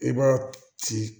I b'a ci